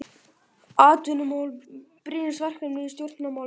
Atvinnumál brýnasta verkefnið í stjórnmálum